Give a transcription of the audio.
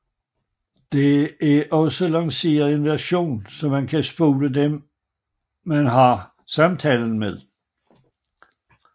Der er også blevet lanceret en version så man kan spore dem man har samtalen med